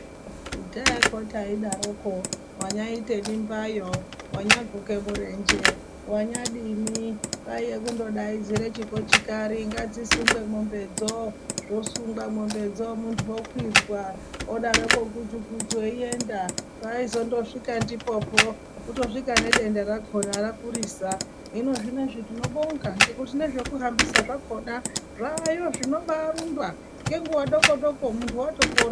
Kudhayako taidaroko wanyaite mimbayo, wanyaguke murenje ,wanyadini kwaiye kundodaidzire chikochikari ngadzisungwe mwombedzo zvosungwa mwombedzo muntu okwidzwa zvodaroko guchu-guchu eienda aindozosvika ndipopo kutosvika nedenda rakona rakurisa ,hino zvinozvi tinobonga ngekuti nezvekuhambisa zvakona zvaayo zvinobaarumba ngenguwa dokodoko muntu watopora.